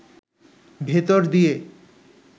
ভেতর দিয়ে